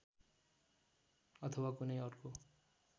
अथवा कुनै अर्को